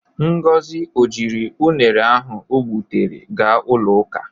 Ngozi o jiri unere ahụ o gbụtere ga ụlọ ụka?